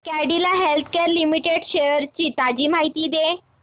Cadila Healthcare Limited shares ची ताजी माहिती दे